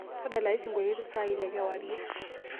tadalayu elesingolio saa ile kewarie